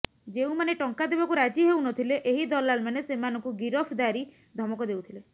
ଯେଉଁମାନେ ଟଙ୍କା ଦେବାକୁ ରାଜି ହେଉନଥିଲେ ଏହି ଦଲାଲମାନେ ସେମାନଙ୍କୁ ଗିରଫଦାରୀ ଧମକ ଦେଉଥିଲେ